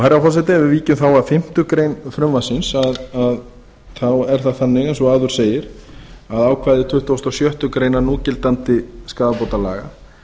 herra forseti ef við víkjum þá að fimmtu grein frumvarpsins þá er það þannig eins og áður segir að ákvæði tuttugasta og sjöttu grein núgildandi skaðabótalaga